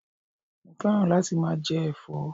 Mo féràn láti máa je èfó